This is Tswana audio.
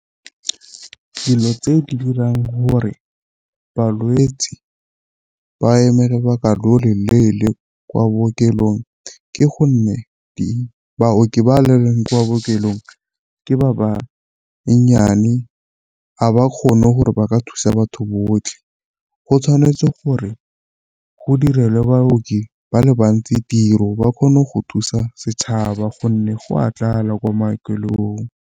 Dilo tse di dirang gore balwetsi ba emele baka loleele kwa bookelong ke gonne di baoki ba le kwa bookelong ke ba banyane ga ba kgone gore ba ka thusa batho botlhe. Go tshwanetse gore go direlwe baoki ba le bantsi tiro ba kgone go thusa setšhaba gonne go a tlala ko maokelong.